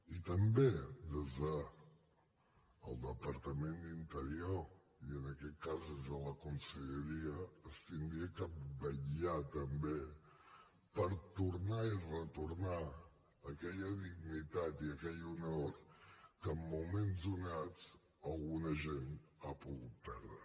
i també des del departament d’interior i en aquest cas des de la conselleria s’hauria de vetllar també per tornar i retornar aquella dignitat i aquell honor que en moments donats algun agent ha pogut perdre